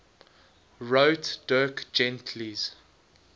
wrote dirk gently's